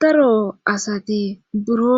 Daro asati buro